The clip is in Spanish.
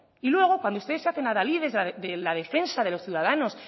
y luego cuando ustedes se hacen adalides de la defensa de los ciudadanos